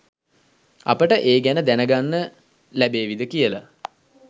අපට ඒ ගැන දැනගන්න ලැබේවිද කියලා